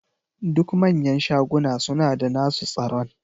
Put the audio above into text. Duk manyan shaguna suna da nasu tsaron.